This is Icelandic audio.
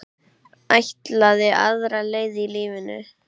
Ætlaði aðra leið í lífinu.